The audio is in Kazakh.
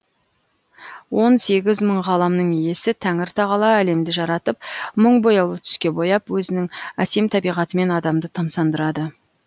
он сегіз мың ғаламның иесі тәңір тағала әлемді жаратып мың бояулы түске бояп өзінің әсем табиғатымен адамды тамсандырады